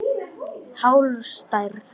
Hálf stærð.